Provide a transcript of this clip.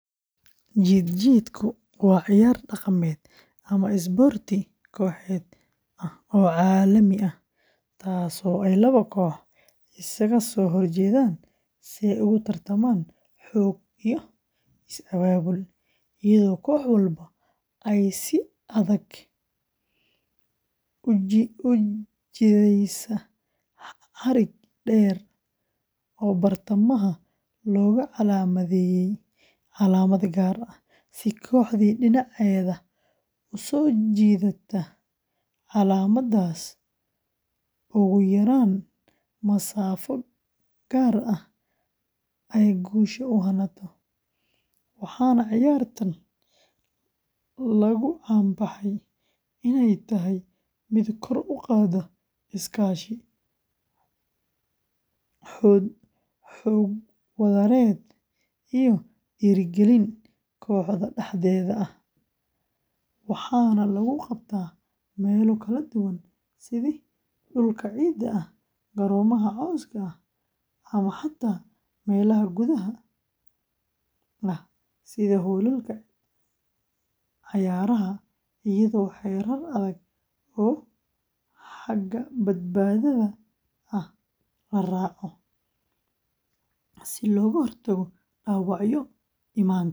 Jiid-jiidku waa ciyaar dhaqameed ama isboorti kooxeed ah oo caalami ah, taasoo ay laba kooxood iskaga soo horjeedaan si ay ugu tartamaan xoog iyo is abaabul, iyadoo koox walba ay si adag u jiidaysa xarig dheer oo bartamaha looga calaamadeeyay calaamad gaar ah, si kooxdii dhinaceeda u soo jiidata calaamaddaas ugu yaraan masaafo gaar ah ay guusha u hanato, waxaana ciyaartan lagu caan baxay inay tahay mid kor u qaadda iskaashi, xoog wadareed iyo dhiirigelin kooxda dhexdeeda ah, waxaana lagu qabtaa meelo kala duwan sida dhulka ciidda ah, garoomo caws ah ama xataa meelaha gudaha ah sida hoolalka cayaaraha, iyadoo xeerar adag oo xagga badbaadada ah la raaco, si looga hortago dhaawacyo iman kara.